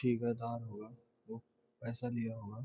ठेकेदार पैसे लिया हुआ।